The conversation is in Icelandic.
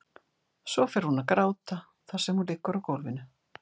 Svo fer hún að gráta þar sem hún liggur á gólfinu.